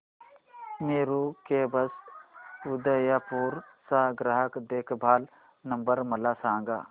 Meru cabs Udaipur चा ग्राहक देखभाल नंबर मला सांगा